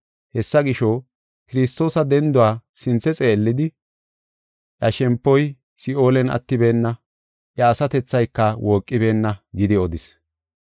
Hessa gisho, Kiristoosa denduwa sinthe xeellidi, ‘Iya shempoy Si7oolen attibeenna; iya asatethayka wooqibeenna’ gidi odis.